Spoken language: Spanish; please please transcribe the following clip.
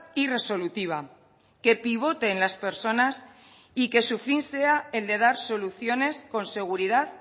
y resolutiva que pivote en las personas y que su fin sea el de dar soluciones con seguridad